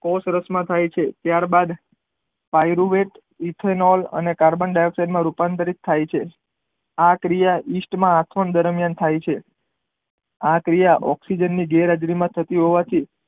કોષરસ માં થાય છે ત્યાર બાદ પાયરુ વેદ ઇથિનોલ અને કાર્બનડાયોગ સાઈડ માં રૂપાંતર થાય છે આ ક્રિયા ઇસ્ટ માં આપણ દ્વારા થાય છે આ ક્રિયા ઓકઝીજન ની ગેર હાજરી માં થતી હોવાથી